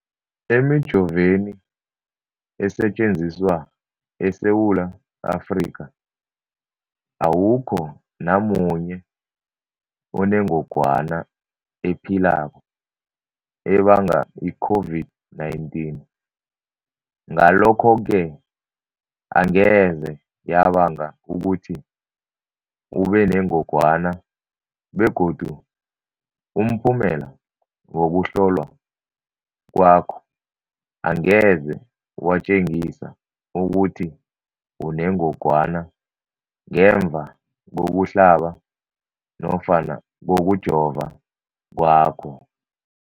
Emijoveni esetjenziswa eSewula Afrika, awukho namunye onengog wana ephilako ebanga i-COVID-19. Ngalokho-ke angeze yabanga ukuthi ubenengogwana begodu umphumela wokuhlolwan kwakho angeze watjengisa ukuthi unengogwana ngemva kokuhlaba nofana kokujova kwakho.